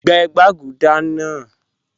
Gbẹ̀ gbagúdà naa